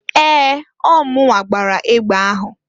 Ee! Ọọ munwa gbara egbe ahụ.